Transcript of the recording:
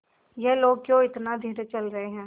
ये लोग क्यों इतना धीरे चल रहे हैं